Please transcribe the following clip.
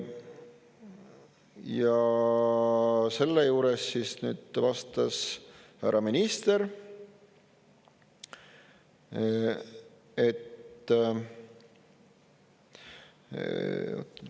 Ja selle juures siis vastas härra minister …